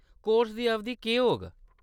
Course दी अवधि केह्‌‌ होग ?